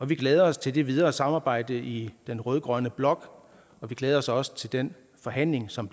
vi glæder os til det videre samarbejde i den rød grønne blok og vi glæder os også til den forhandling som